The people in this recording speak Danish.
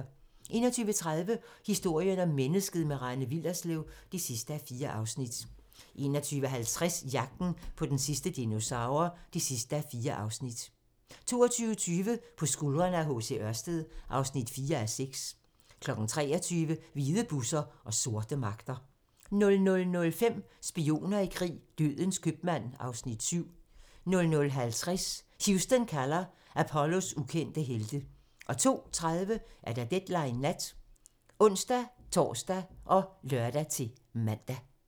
21:30: Historien om mennesket - med Rane Willerslev (4:4) 21:50: Jagten på den sidste dinosaur (4:4) 22:20: På skuldrene af H. C. Ørsted (4:6) 23:00: Hvide busser og sorte magter 00:05: Spioner i krig: Dødens købmand (Afs. 7) 00:50: Houston kalder - Apollos ukendte helte 02:30: Deadline Nat (ons-tor og lør-man)